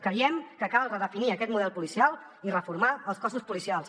creiem que cal redefinir aquest model policial i reformar els cossos policials